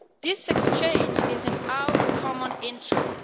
This exchange is in our common interest.